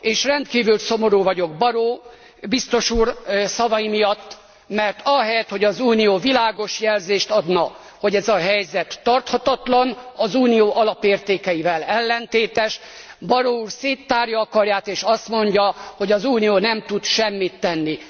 És rendkívül szomorú vagyok Barrot biztos úr szavai miatt, mert ahelyett, hogy az Unió világos jelzést adna, hogy ez a helyzet tarthatatlan, az Unió alapértékeivel ellentétes, Barrot úr széttárja a karját és azt mondja, hogy az Unió nem tud semmit tenni.